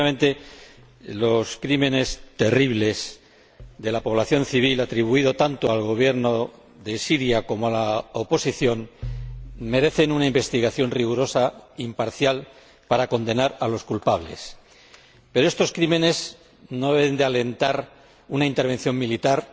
Efectivamente, los crímenes terribles de la población civil atribuidos tanto al Gobierno de Siria como a la oposición merecen una investigación rigurosa e imparcial para condenar a los culpables. Pero estos crímenes no deben alentar una intervención militar